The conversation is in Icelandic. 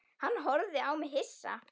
Hann horfði á mig hissa.